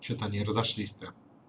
что-то они разошлись то